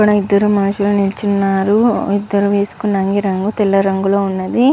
ఇక్కడ ఇదరు మనుషుల్లు నిలుచునారు ఇదరు వెసుకున రంగు తెల్ల రంగు ల వున్నది--